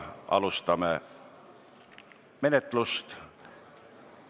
Alustame menetlust.